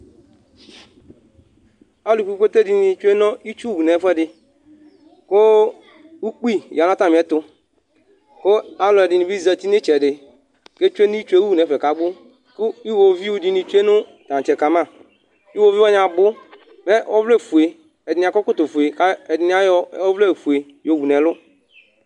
alu kpekpete dɩnɩ tsue nu itsuwu nu ɛfuɛdɩ, ku ukpi ya nu atamiɛtu, ku alʊ ɛdɩnɩbɩ zati nu ɩtsɛdɩ ku atsue nu itsu yɛwu nu ɛfɛ kabu ku iwoviu dɩnɩ tsue nu tăntsɛ kama, iwoviu wanɩ abʊ, mɛ ɔvlɛ fuǝ ɛdɩnɩ akɔ ɛkɔtɔ fuǝ ku ayɔ ɔvlɛ fuǝ yɔ wu nu ɛlʊ